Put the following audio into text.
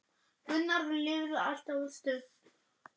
Gunnar lifði allt of stutt.